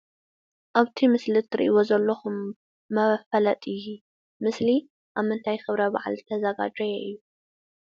ኣብቲ ምስሊ እትሪኢዎ ዘለኹም መፋለጢ ምስሊ አብ ምንታይ ክብረ በዓል ዝተዛጋጀወ እዩ?